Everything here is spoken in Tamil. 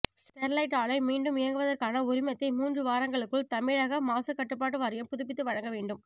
ஸ்டெர்லைட் ஆலை மீண்டும் இயங்குவதற்கான உரிமத்தை மூன்று வாரங்களுக்குள் தமிழக மாசுக்கட்டுப்பாட்டு வாரியம் புதுப்பித்து வழங்க வேண்டும்